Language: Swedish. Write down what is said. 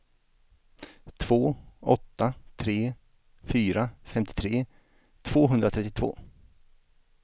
två åtta tre fyra femtiotre tvåhundratrettiotvå